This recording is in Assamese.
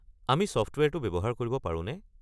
আমি ছফ্টৱেৰটো ব্যৱহাৰ কৰিব পাৰোনে?